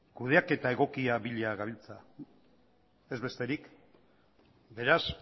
kudeaketa egokia bila gabiltza ez besterik beraz